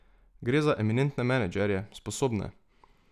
Gre za eminentne menedžerje, sposobne.